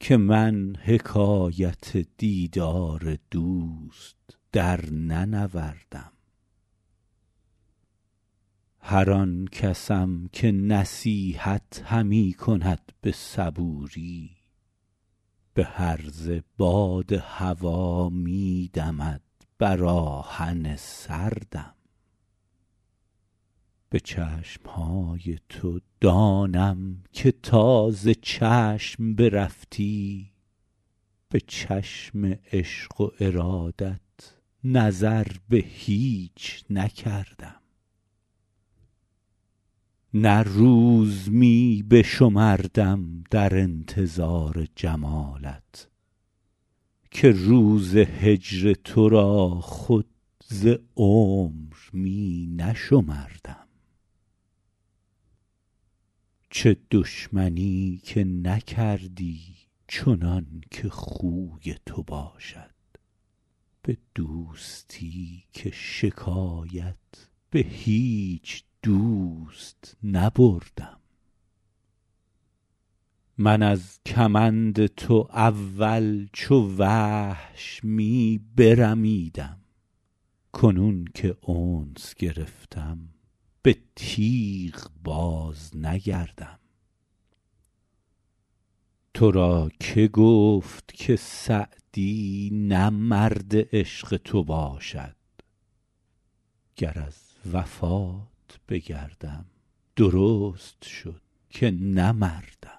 که من حکایت دیدار دوست درننوردم هر آن کسم که نصیحت همی کند به صبوری به هرزه باد هوا می دمد بر آهن سردم به چشم های تو دانم که تا ز چشم برفتی به چشم عشق و ارادت نظر به هیچ نکردم نه روز می بشمردم در انتظار جمالت که روز هجر تو را خود ز عمر می نشمردم چه دشمنی که نکردی چنان که خوی تو باشد به دوستی که شکایت به هیچ دوست نبردم من از کمند تو اول چو وحش می برمیدم کنون که انس گرفتم به تیغ بازنگردم تو را که گفت که سعدی نه مرد عشق تو باشد گر از وفات بگردم درست شد که نه مردم